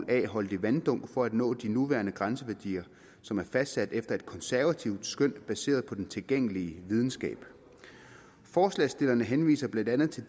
a holdig vanddunk for at nå de nuværende grænseværdier som er fastsat efter et konservativt skøn baseret på den tilgængelige videnskab forslagsstillerne henviser blandt andet til